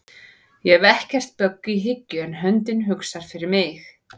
Ég hef ekkert bögg í hyggju en höndin hugsar fyrir mig